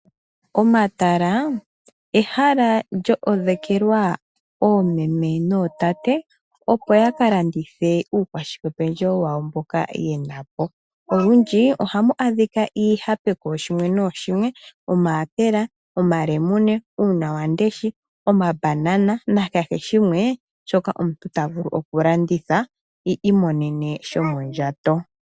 Omatala ehala lyo odhekelwa oomeme nootate opo ya ka landithe uukwashikependjewo wawo mboka ye na po. Olundji oha mu monika iihape kooshimwe nooshimwe omayapela, omalemune, uunawamundesha, omabanana, nakeheshimwe shoka omuntu ta vulu okulanditha iimonene shomondjato.